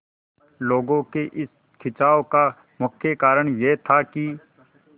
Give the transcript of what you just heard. लोगों के इस खिंचाव का मुख्य कारण यह था कि